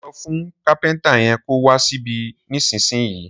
Sọ fún kàpẹńtà yen kò wà síbì nísìnyí.